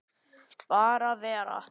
Bara vera.